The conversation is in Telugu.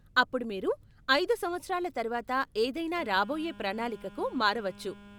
అప్పుడు మీరు ఐదు సంవత్సరాల తర్వాత ఏదైనా రాబోయే ప్రణాళికకు మారవచ్చు.